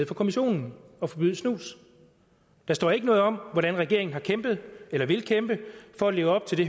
for kommissionen og forbyde snus der står ikke noget om hvordan regeringen har kæmpet eller vil kæmpe for at leve op til det